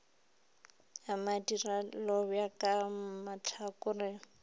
a madira lobjwa ka mahlakoreng